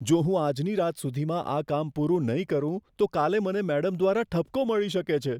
જો હું આજની રાત સુધીમાં આ કામ પૂરું નહીં કરું, તો કાલે મને મેડમ દ્વારા ઠપકો મળી શકે છે.